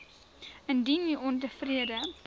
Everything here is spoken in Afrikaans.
indien u ontevrede